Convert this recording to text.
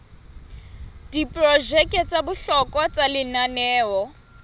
diprojeke tsa bohlokwa tsa lenaneo